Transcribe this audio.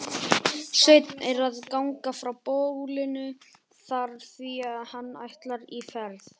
Sveinn er að ganga frá bólinu þeirra því hann ætlar í ferð.